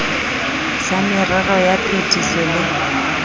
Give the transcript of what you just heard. sa merero ya phetiso le